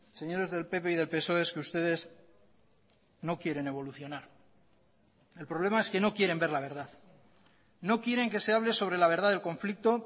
señores del pp y del psoe es que ustedes no quieren evolucionar el problema es que no quieren ver la verdad no quieren que se hable sobre la verdad del conflicto